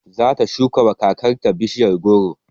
Zata shukawa kakar ta bishiya goro